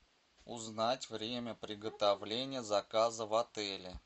узнать время приготовления заказа в отеле